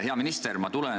Hea minister!